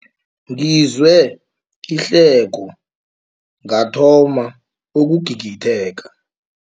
Ngizwe ihleko ngathoma ukugigitheka.